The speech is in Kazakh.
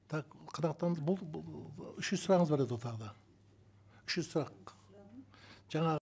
так қанағаттанды болды үшінші сұрағыңыз бар еді ғой тағы да үшінші сұрақ жаңа